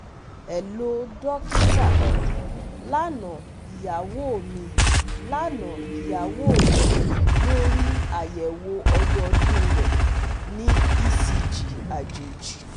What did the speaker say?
Hello dokita, Lana iyawo mi Lana iyawo mi lori ayẹwo ọdọọdun rẹ ni ECG ajeji